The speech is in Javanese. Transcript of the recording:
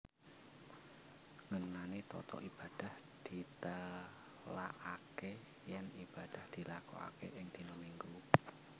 Ngenani tata ibadah ditélakaké yèn ibadah dilakokaké ing dina Minggu